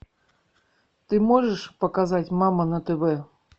ты можешь показать мама на тв